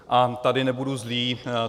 A tady nebudu zlý.